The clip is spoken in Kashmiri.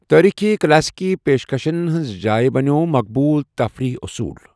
تٲریٖخی كلاسیكی پیشکَشن ہٕنٛز جایہ بَنیوو مقبوُل تفریح اصوٗل۔